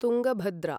Tungabhadra